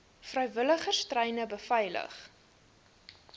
vrywilligers treine beveilig